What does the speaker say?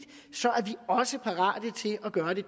også parate til at gøre det